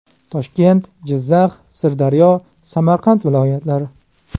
Toshkent, Jizzax, Sirdaryo, Samarqand viloyatlari .